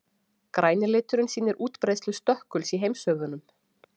græni liturinn sýnir útbreiðslu stökkuls í heimshöfunum